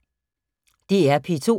DR P2